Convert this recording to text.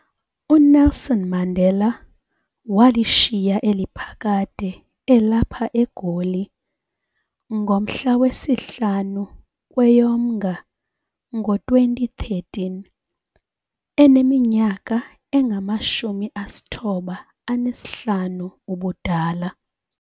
uNelson Mandela walishiya eli phakade elapha eGoli ngomhla wesi-5 kweyoMnga ngo-2013, eneminyaka engama-95 ubudala.